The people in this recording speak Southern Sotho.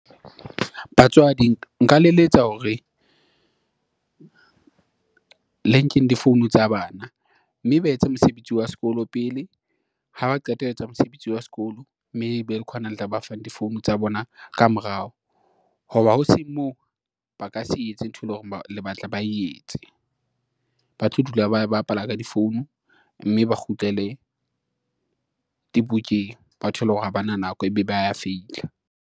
Batswadi nka le eletsa hore le nkeng di-phone tsa bana, mme ba etse mosebetsi wa sekolo pele ha ba qeta ho etsa mosebetsi wa sekolo, mme ebe khona le tla ba fang di-phone tsa bona ka morao. Ho ba ho seng moo ba ka se etse ntho, e leng hore le batla, ba etse ba tlo dula, ba bapala ka difounu mme ba kgutlele dibukeng, ba thole hore ha bana nako ebe ba ya feila.